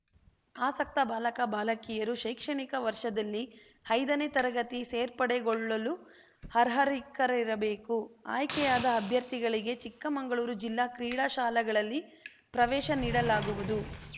ಆಸಕ್ತ ಬಾಲಕ ಬಾಲಕಿಯರು ಶೈಕ್ಷಣಿಕ ವರ್ಷದಲ್ಲಿ ಐದನೇ ತರಗತಿ ಸೇರ್ಪಡೆಗೊಳ್ಳಲು ಅರ್ಹರಿಕ್ಕರಿರಬೇಕು ಆಯ್ಕೆಯಾದ ಅಭ್ಯರ್ಥಿಗಳಿಗೆ ಚಿಕ್ಕಮಂಗಳೂರು ಜಿಲ್ಲಾ ಕ್ರೀಡಾಶಾಲೆಗಳಲ್ಲಿ ಪ್ರವೇಶ ನೀಡಲಾಗುವುದು